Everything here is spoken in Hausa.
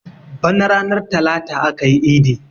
Bana ranar talata akayi idi